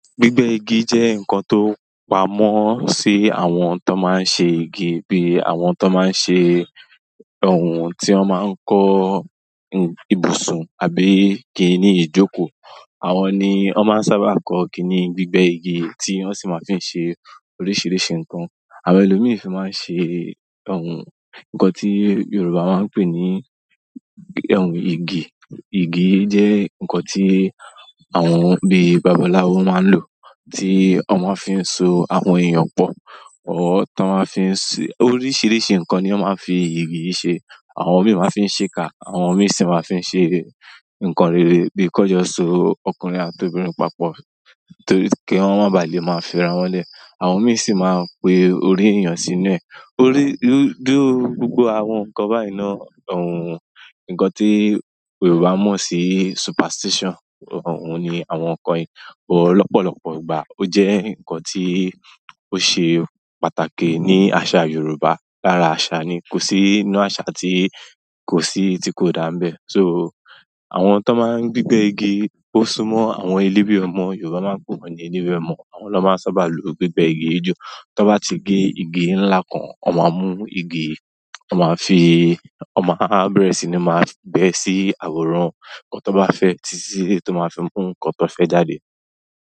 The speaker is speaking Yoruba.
Gbígbẹ́ igi jẹ́ ǹkan tó pamọ́ sí àwọn tó máa ń ṣe igi bí i àwọn tó máa ń ṣe òhun tí wọ́n máa ń kọ́ ibùsùn àbí kíni ìjókòó. Àwọn ni wọ́n sábà máa ń kọ́ kíni gbígbẹ́ igi tí wọ́n sì máa ń fi ṣe oríṣiríṣi ǹkan. Àwọn ẹlòmíràn fi máa ń ṣe òhun ǹkan tí Yorùbá máa ń pè ní òhun igi. Igi jẹ́ ǹkan tí àwọn bí i babaláwo máa ń lò, tí wọ́n máa ń fi so àwọn èèyàn pọ̀. Oríṣiríṣi ǹkan ni wọ́n máa ń fi igi ṣe. Àwọn mìíràn máa ń fi ṣe ká, àwọn mìíràn sì máa ń fi ṣe ǹkan rere bíi kọ́jọsọ ọkùnrin àti obìnrin papọ̀ kí wọ́n má ba à lè máa fira wọn le. Àwọn mìíràn sì máa ń pe orí èèyàn sínú ẹ. Nínú gbogbo àwọn ǹkan bẹ́ẹ̀ náà, òhun ǹkan tí Yorùbá mọ̀ sí superstition. O un ni àwọn unkan wọ̀nyí, ṣùgbọ́n lopolopo ìgbà, oje u n kan to se pàtàkì ni asa yorùbá. Lára àṣà ni kò sí inú àṣà tí kò sí tí kò dànbẹ́. So, àwọn tó máa ń gbígbẹ́ igi ó súmọ́ àwọn eléwe ọmọ Yorùbá máa ń pè wọ́n ní olewe ọmọ. Àwọn ló ma sábà máa ń lò gbígbẹ́ igi jù. Tí wọ́n bá ti gé igi ńlá kan, wọ́n máa mú igi, wọ́n máa bẹ̀rẹ̀ sí máa gbe ẹ sí àwòrán ǹkan tó bá fẹ́, tí ó máa fi mú ǹkan tó fẹ́ jáde.